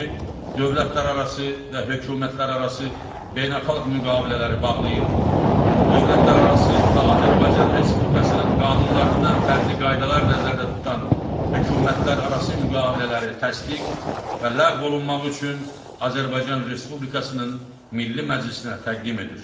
Dövlətlərarası və hökumətlərarası beynəlxalq müqavilələri bağlayır, dövlətlərarası və Azərbaycan Respublikasının qanunlarından fərqli qaydalar nəzərdə tutan hökumətlərarası müqavilələri təsdiq və ləğv olunmaq üçün Azərbaycan Respublikasının Milli Məclisinə təqdim edir.